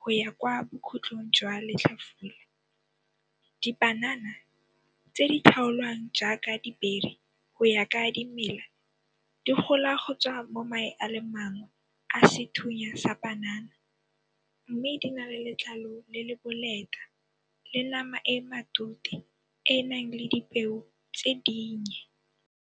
go ya kwa bokhutlong jwa letlhafula. Dipanana tse di tlhaolwang jaaka dibiri go ya ka dimela di gola go tswa mo mae a le mang a sethunya sa panana mme di nale letlalo le le boleta le nama e e matute e e nang le dipeo tse dinye.